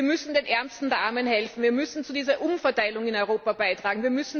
Wir müssen den Ärmsten der Armen helfen. Wir müssen zu dieser Umverteilung in Europa beitragen.